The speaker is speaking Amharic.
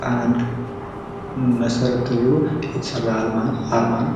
ጣናን መሰረት ተደርጎ የተሰራ ነዉ።